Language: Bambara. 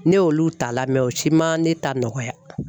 Ne y'olu ta lamɛn o ci ma ne ta nɔgɔya.